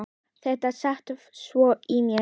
Þetta sat svo í mér.